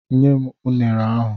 Nye m unere ahụ!